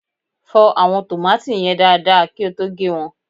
fọ àwọn tòmátì yen dada kí o tó gé won